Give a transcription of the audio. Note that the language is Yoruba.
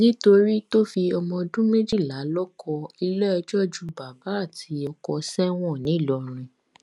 nítorí tó fi ọmọ ọdún méjìlá lóko iléẹjọ ju bàbá àti ọkọ sẹwọn ńìlọrin